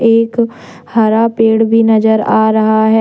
एक हरा पेड़ भी नजर आ रहा है।